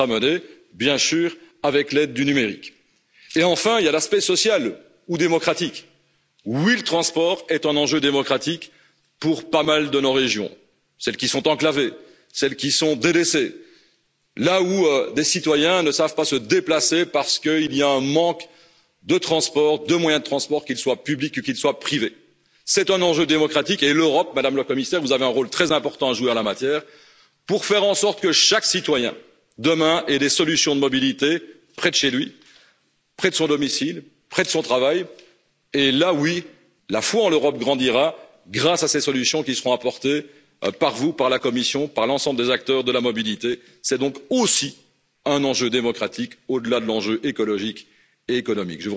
Oui, nous devons veiller à avoir cette attention particulière pour les entreprises et pour l'emploi dans la stratégie qui sera menée avec l'aide du numérique. Enfin, il y a l'aspect social ou démocratique. Oui, le transport est un enjeu démocratique pour bon nombre de nos régions celles qui sont enclavées, celles qui sont délaissées, celles où des citoyens ne peuvent pas se déplacer parce qu'il y a un manque de moyens de transport, qu'ils soient publics ou privés. C'est un enjeu démocratique pour l'Europe Madame la Commissaire, vous avez un rôle très important à jouer en la matière, pour faire en sorte que chaque citoyen, demain, ait des solutions de mobilité près de chez lui, près de son domicile, près de son travail. À ce moment là, oui, la foi en l'Europe grandira grâce à ces solutions qui seront apportées par vous, par la Commission et par l'ensemble des acteurs de la mobilité. C'est donc aussi un enjeu démocratique au delà de l'enjeu écologique et économique.